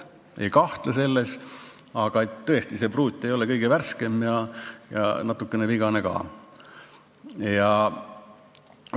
Ma ei kahtle selles, aga tõesti, see pruut ei ole kõige värskem ja natukene vigane on ta ka.